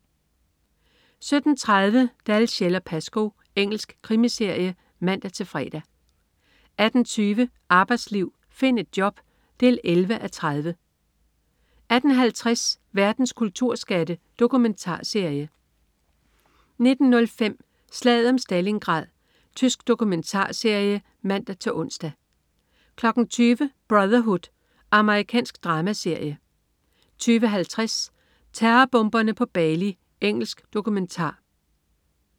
17.30 Dalziel & Pascoe. Engelsk krimiserie (man-fre) 18.20 Arbejdsliv. Find et job! 11:30 18.50 Verdens kulturskatte. Dokumentarserie 19.05 Slaget om Stalingrad. Tysk dokumentarserie (man-ons) 20.00 Brotherhood. Amerikansk dramaserie 20.50 Terrorbomberne på Bali. Engelsk dokumentar